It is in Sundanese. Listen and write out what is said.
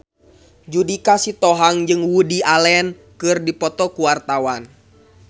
Judika Sitohang jeung Woody Allen keur dipoto ku wartawan